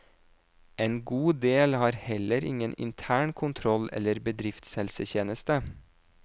En god del har heller ingen intern kontroll eller bedriftshelsetjeneste.